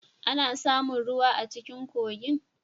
Ana samun ruwa a cikin kogin.